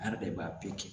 An yɛrɛ de b'a bɛɛ cɛn